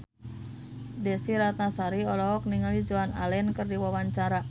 Desy Ratnasari olohok ningali Joan Allen keur diwawancara